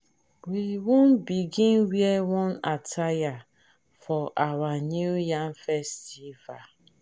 we wan begin wear one attire for our new yam festival.